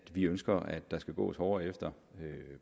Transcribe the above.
at vi ønsker at der skal gås hårdere efter